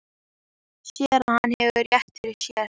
Sér að hann hefur rétt fyrir sér.